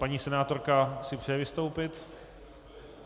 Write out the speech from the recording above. Paní senátorka si přeje vystoupit?